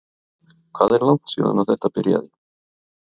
Hvað er langt síðan að þetta byrjaði?